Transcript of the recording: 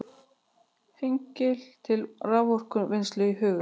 Hengli til raforkuvinnslu í huga.